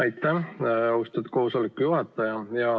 Aitäh, austatud koosoleku juhataja!